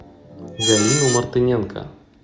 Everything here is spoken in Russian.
галину мартыненко